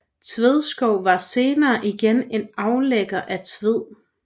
Tvedskov var senere igen en aflægger af Tved